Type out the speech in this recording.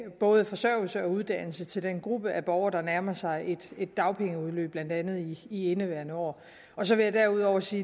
både forsørgelse og uddannelse til den gruppe af borgere der nærmer sig et dagpengeudløb blandt andet i i indeværende år så vil jeg derudover sige